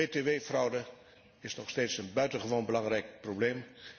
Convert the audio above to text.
BTW fraude is nog steeds een buitengewoon belangrijk probleem.